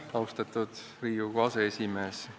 Austatud Riigikogu aseesimees!